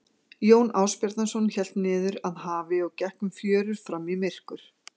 Jón Ásbjarnarson hélt niður að hafi og gekk um fjörur fram í myrkur.